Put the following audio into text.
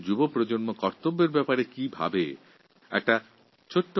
আমাদের দেশের যুবশক্তির কর্তব্য বিষয়ে ধ্যানধারণা সম্বন্ধে জানতে আমি খুবই আগ্রহী